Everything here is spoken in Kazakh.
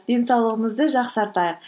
денсаулығымызды жақсартайық